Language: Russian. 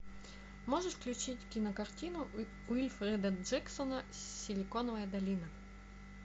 можешь включить кинокартину уилфреда джексона силиконовая долина